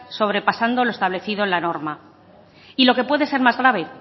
sobrepasando lo establecido en la norma y lo que puede ser más grave